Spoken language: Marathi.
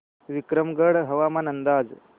विक्रमगड हवामान अंदाज